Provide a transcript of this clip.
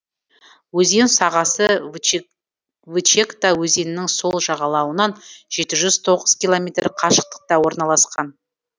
өзен сағасы вычегда өзенінің сол жағалауынан жеті жүз тоғыз километр қашықтықта орналасқан